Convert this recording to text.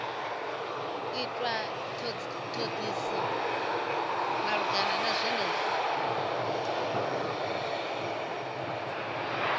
itwa thodisiso malugana na zwenezwo